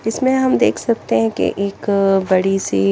इसमें हम देख सकते है की एक बड़ी सी --